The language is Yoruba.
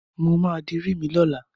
Mo máa dirí mi lọ́la.